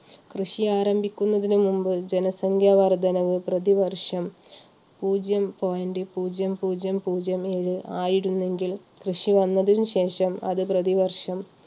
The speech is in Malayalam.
കൃഷി ആരംഭിക്കുന്നതിനു മുമ്പ് ജനസംഖ്യ വർദ്ധനവ് പ്രതിവർഷം പൂജ്യം point പൂജ്യം പൂജ്യം പൂജ്യം ഏഴ് ആയിരുന്നെങ്കിൽ കൃഷി വന്നതിനുശേഷം അത് പ്രതിവർഷം